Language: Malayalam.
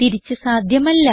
തിരിച്ച് സാധ്യമല്ല